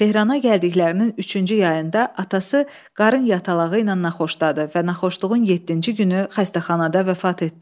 Tehrana gəldiklərinin üçüncü yayında atası qarının yatalağı ilə naxoşdadı və naxoşluğun yeddinci günü xəstəxanada vəfat etdi.